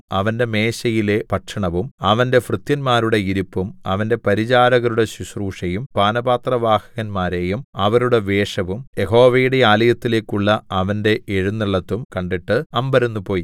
അവന്റെ മേശയിലെ ഭക്ഷണവും അവന്റെ ഭൃത്യന്മാരുടെ ഇരിപ്പും അവന്റെ പരിചാരകരുടെ ശുശ്രൂഷയും പാനപാത്രവാഹകന്മാരെയും അവരുടെ വേഷവും യഹോവയുടെ ആലയത്തിലേക്കുള്ള അവന്റെ എഴുന്നെള്ളത്തും കണ്ടിട്ട് അമ്പരന്നുപോയി